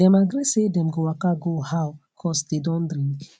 dem agree say them go waka go how cause dey don drink